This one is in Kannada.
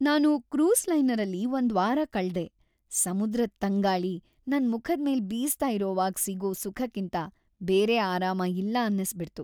ನಾನು ಕ್ರೂಸ್ ಲೈನರಲ್ಲಿ ಒಂದ್ವಾರ ಕಳ್ದೆ, ಸಮುದ್ರದ್‌ ತಂಗಾಳಿ ನನ್ ಮುಖದ್ಮೇಲ್ ಬೀಸ್ತಾ ಇರೋ‌ವಾಗ್ ಸಿಗೋ ಸುಖಕ್ಕಿಂತ ಬೇರೆ ಆರಾಮ ಇಲ್ಲ ಅನ್ನಿಸ್ಬಿಡ್ತು.